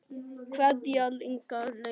Kveðja, Inga systir.